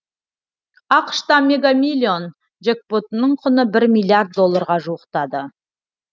ақш та мега миллион джекпотының құны бір миллиард долларға жуықтады